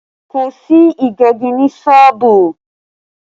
Kò sí Ìgbẹ́gi ní sọ́ọ̀bù